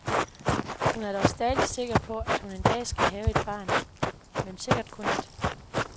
Hun er dog stadig sikker på, at hun en dag skal have et barn, men sikkert kun et.